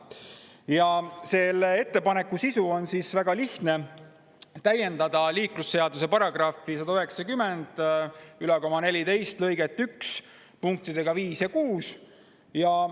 Ja selle ettepaneku sisu on väga lihtne: täiendada liiklusseaduse § 19014 lõiget 1 punktiga 5 ja 6.